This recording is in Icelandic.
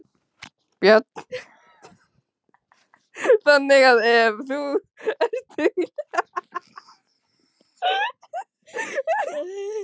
Björn: Þannig að ef þú ert duglegur að prófa þá gengur þetta allt vel?